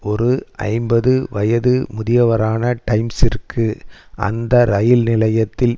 ஒரு ஐம்பது வயது முதியவரான டைம்சிற்கு அந்த ரயில் நிலையத்தில்